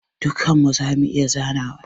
Dukkan mu zamu iya zanawa.